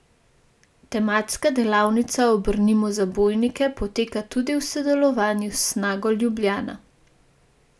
Tematska delavnica Obrnimo zabojnike poteka tudi v sodelovanju s Snago Ljubljana.